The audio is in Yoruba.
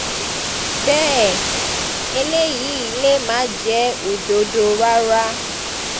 bẹ́ẹ̀ eléyìí lè má jẹ́ òdodo rárá